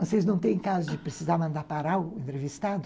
Vocês não têm caso de precisar mandar parar o entrevistado?